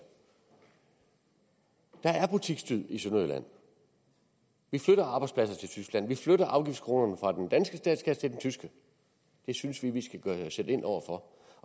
der er butiksdød i sønderjylland vi flytter arbejdspladser til tyskland vi flytter afgiftskronerne fra den danske statskasse til den tyske det synes vi at vi skal sætte ind over for